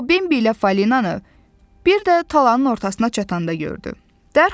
O Bembi ilə Falinanı, bir də talanın ortasına çatanda gördü.